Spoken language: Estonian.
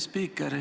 Hea spiiker!